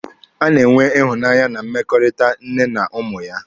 A na-enwe ịhụnanya na mmekọrịta nne na ụmụ ya.